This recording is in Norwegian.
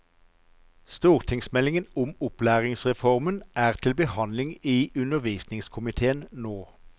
Stortingsmeldingen om opplæringsreformen er til behandling i undervisningskomitéen nå.